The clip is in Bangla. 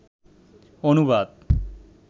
অনুবাদ